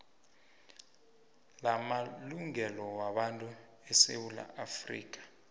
lamalungelo wabantu esewula